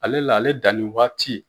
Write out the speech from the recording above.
Ale la ale danni wagati